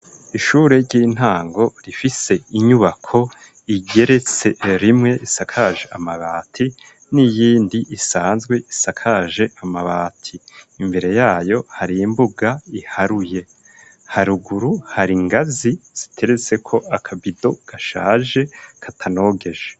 Ishure ry'intango, rifise inyubako, igeretse rimwe, isakaje amabati, n'iyindi isanzwe, isakaje amabati; imbere yayo, hari imbuga iharuye; haruguru, hari ingazi ziteretseko, akabido, gashaje katanogeje.